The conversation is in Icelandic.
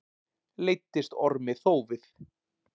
Leiddist Ormi þófið.